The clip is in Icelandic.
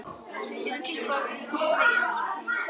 Myndir fengnar af